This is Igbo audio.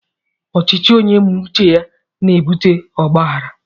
Ọchịchị onye me uche ya n'ebụte ọgbághárá